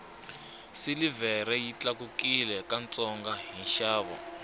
silivhere yi tlakukile ka ntsongo hi nxavo